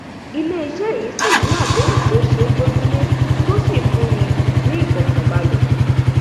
iléiṣẹ yìí sì ni àdéhùn tó ṣe é gbójúlé tó sì fúnni ní ìfọkànbalẹ